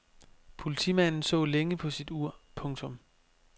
Politimanden så længe på sit ur. punktum